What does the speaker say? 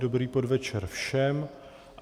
Dobrý podvečer všem.